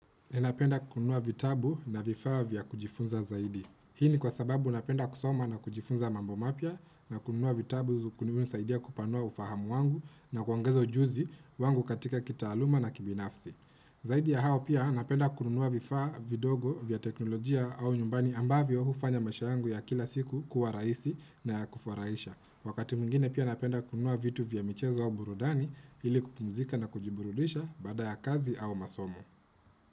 Ninapenda kununua vitabu na vifaa vya kujifunza zaidi. Hii ni kwa sababu napenda kusoma na kujifunza mambo mapya na kununua vitabu zu kuninisaidia kupanua ufahamu wangu na kuongezo ujuzi wangu katika kitaaluma na kibinafsi. Zaidi ya hao pia napenda kununua vifaa vidogo vya teknolojia au nyumbani ambavyo hufanya maisha yangu ya kila siku kuwa rahisi na ya kufurahisha. Wakati mwingine pia napenda kununua vitu vya michezo au burudani ili kupumzika na kujiburudisha baada ya kazi au masomo.